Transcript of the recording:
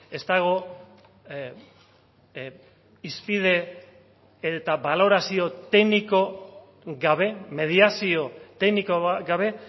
ez dago hizpide eta balorazio tekniko gabe mediazio tekniko gabe